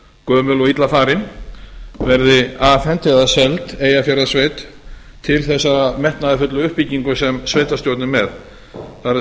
gömul og illa farin verði afhent eða seld eyjafjarðarsveit til þesssarar metnaðarfullu uppbyggingar sem sveitarstjórn er með